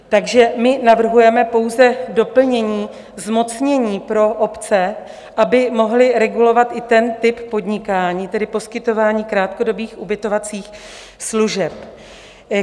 Takže my navrhujeme pouze doplnění zmocnění pro obce, aby mohly regulovat i ten typ podnikání, tedy poskytování krátkodobých ubytovacích služeb.